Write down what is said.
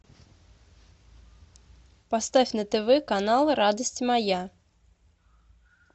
поставь на тв канал радость моя